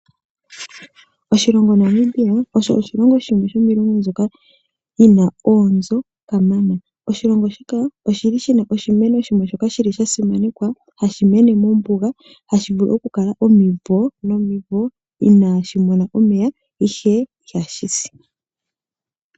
Oshilongo Namibia osho oshilongo shimwe sho miilongo mbyoka yina oonzo kamana. Oshilongo shika oshili shina oshimeno shoka sha simanekwa hashi mene mombunga hashi vulu okukala omimvo nomimvo inashi mona omega ihe ihashi si.